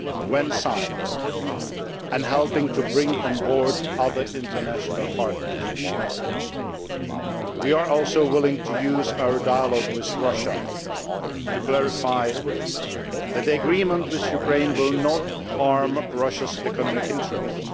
when signed, and helping to bring on board other international partners. We are also willing to use our dialogue with Russia to clarify that the Agreement with Ukraine will not harm Russia's economic interests.